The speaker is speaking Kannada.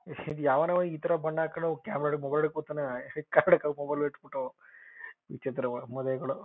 ಯಾವನೋ ಈಥರ ಬಣ್ಣ ಹಾಕೊಳೋ ಕ್ಯಾಮೆರಾ ವಿಚಿತ್ರವಾದ ಮೂದೇವಿಗಳು.